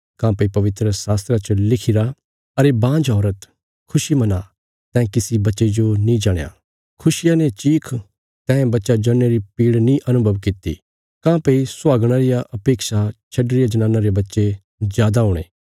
काँह्भई पवित्रशास्त्रा च लिखिरा अरे बांझ औरत खुशी मना तैं किसी बच्चे जो नीं जणया खुशिया ने चीख तैं बच्चा जणने री पीड़ नीं अनुभव कित्ती काँह्भई सुहागणां रिया अपेक्षा छड्डी रिया जनाना रे बच्चे जादा हुणे